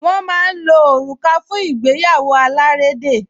Wọ́n máa ń lo òrùka fún ìgbéyàwó alárédè